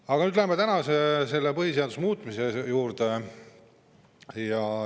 Aga nüüd läheme selle tänase põhiseaduse muutmise juurde.